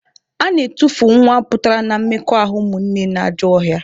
A na-etufu nwa pụtara na mmekọahụ ụmụnne na ajọ ọhịa